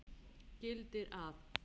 gildir að